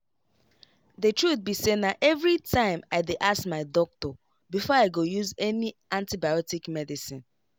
the truth be sayna everytime i dey ask my doctor before i go use any antibiotic medicine.